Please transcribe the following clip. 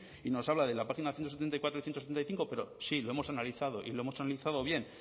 y nos habla de la página ciento setenta y cuatro y ciento setenta y cinco pero sí lo hemos analizado y lo hemos analizado bien